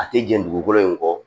A tɛ jɛn dugukolo in kɔ